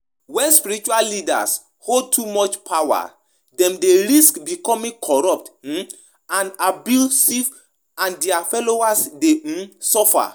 You fit discuss di importance of promoting accountability and transparency in spiritual leadership.